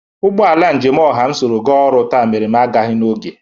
Ụgbọ ala njem ọha m soro ga ọrụ taa mere m agaghị n'oge.